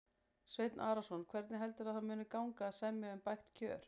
Sveinn Arnarson: Hvernig heldurðu að það muni gangi að semja um bætt kjör?